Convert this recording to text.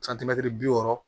santimɛtiri bi wɔɔrɔ